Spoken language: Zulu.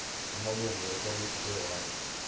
amalungu ekomiti lewadi